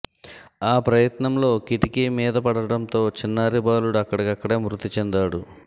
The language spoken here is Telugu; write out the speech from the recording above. ఆ ప్రయత్నంలో కిటికి మీద పడటంతో చిన్నారి బాలుడు అక్కడిక్కడే మృతి చెందాడు